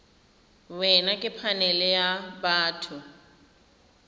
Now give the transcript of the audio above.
wena ke phanele ya batho